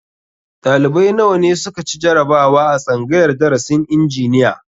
Ɗalibai nawa ne su ka ci jarabawa a tsangayar darasin injiniya?